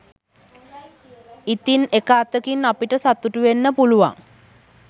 ඉතින් එක අතකින් අපිට සතුටුවෙන්න පුලුවන්